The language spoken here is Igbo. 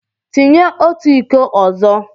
Tinye otu iko ọzọ!